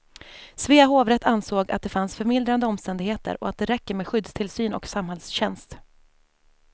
Svea hovrätt ansåg att det fanns förmildrande omständigheter och att det räcker med skyddstillsyn och samhällstjänst.